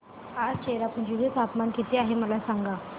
आज चेरापुंजी चे तापमान किती आहे मला सांगा